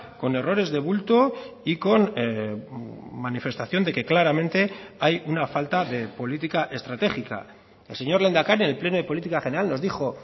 con errores de bulto y con manifestación de que claramente hay una falta de política estratégica el señor lehendakari en el pleno de política general nos dijo